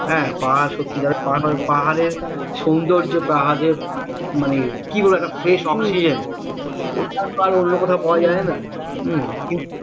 হ্যাঁ পাহাড় সত্তিকারের পাহাড় পাহাড়ের সৌন্দর্যতা পাহাড়ের মানে কি বলবো একটা fresh oxygen ওটা তো আর অন্য কোথাও পাওয়া যায় না হু